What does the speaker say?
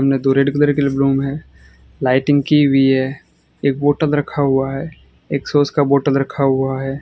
तो red colour lighting की हुई है एक बॉटल रखा हुआ है एक सॉस का बोटल रखा हुआ है।